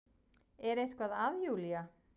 Er eitthvað að Júlía?